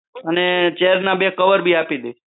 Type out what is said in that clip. અને ચેર ના બે કવર પણ આપી દે